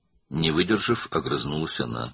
Tab gətirməyərək cavab verdi.